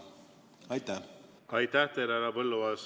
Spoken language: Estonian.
Aitäh teile, härra Põlluaas!